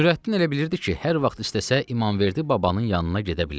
Nürəddin elə bilirdi ki, hər vaxt istəsə İmamverdi babanın yanına gedə bilər.